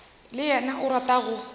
le yena o rata go